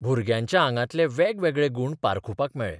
भुरग्यांच्या आगांतले वेगवेगळे गूण पारखुपाक मेळ्ळे.